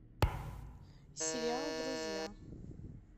сериал друзья